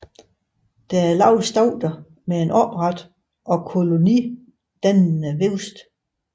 Det er lave stauder med en opret og kolonidannende vækst